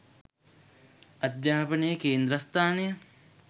අධ්‍යාපනයේ කේන්ද්‍රස්ථානය